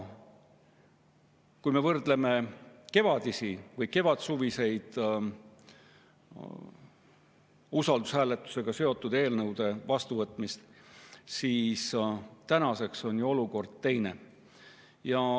Kui me vaatame kevadel või kevadsuvel toimunud usaldushääletusega seotud eelnõude vastuvõtmist, siis näeme, et tänaseks on ju olukord teine.